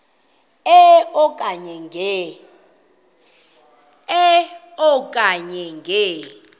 e okanye nge